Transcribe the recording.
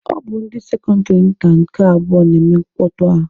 Ọ bụ ndị sekọndịrị nta nke abụọ na-eme mkpọtụ a.